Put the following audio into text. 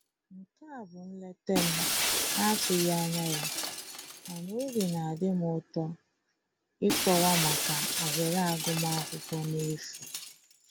Nke a bụ nleta m na-atụghị anya ya mana obi na adị m ụtọ ịkọwa maka ohere agụmakwụkwọ n'efu